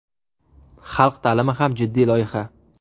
Xalq ta’limi ham jiddiy loyiha.